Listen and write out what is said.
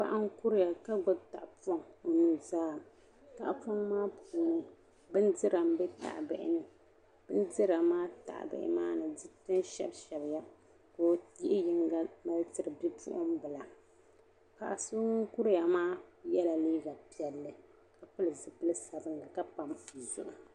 Paɣi n kuriya kagbub tahi pɔŋ onuzaani ka tahipɔŋ maa puuni bin dira m-be tahibihini. bindira maa tahibihi maa mi di kul shab shsbiya ka ɔyihi yiŋga n mali tiri bipuɣin bila paɣiso ŋun kuriya maa yela liiga piɛli kapili zipili sabinli ka pam o zuɣu.